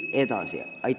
Nad ongi selleks valmis.